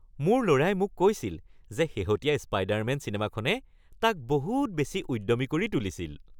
মোৰ ল’ৰাই মোক কৈছিল যে শেহতীয়া স্পাইডাৰমেন চিনেমাখনে তাক বহুত বেছি উদ্যমী কৰি তুলিছিল